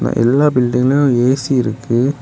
எல்லா பில்டிங்லயும் ஏ_சி இருக்கு.